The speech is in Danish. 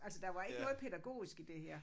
Altså der var ikke noget pædagogisk i det her